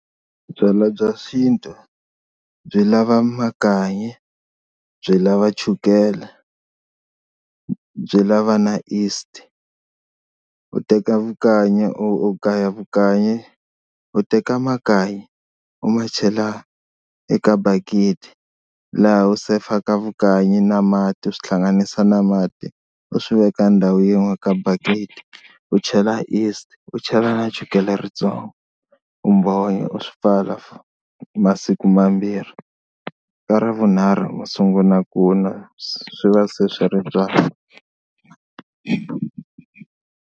Byalwa bya xintu byi lava makanyi, byi lava chukela, byi lava na yeast u teka vukanyi u gaya vukanyi, u teka makanyi u ma chela eka bakiti laha u sefaka vukanyi na mati u swi hlanganisa na mati u swi veka ndhawu yin'wana ka bakiti u chela yeast u chela na chukele ri tsongo u mbhonya u swi pfala masiku mambirhi ka ravunharhu masungula ku nwa swi va se swi ri right.